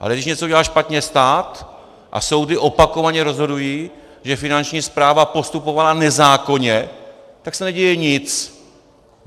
Ale když něco udělá špatně stát - a soudy opakovaně rozhodují, že Finanční správa postupovala nezákonně - tak se neděje nic.